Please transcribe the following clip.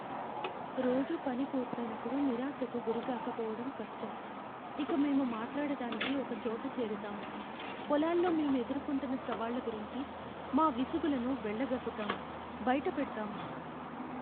రోజు పని పూర్తయినప్పుడు నిరాశకు గురికాకపోవడం కష్టం, ఇక మేము మాట్లాడటానికి ఒకచోట చేరతాము, పొలాల్లో మేం ఎదుర్కొంటున్న సవాళ్ల గురించి మా విసుగులను వెళ్లగక్కుతాము. బయటపెడతాము.